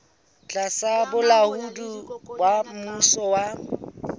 tlasa bolaodi ba mmuso wa